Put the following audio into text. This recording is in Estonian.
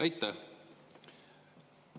Aitäh!